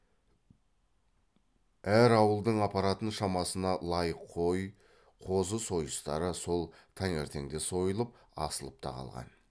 әр ауылдың апаратын шамасына лайық қой қозы сойыстары сол таңертеңде сойылып асылып та қалған